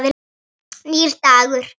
Nýr dagur rennur upp.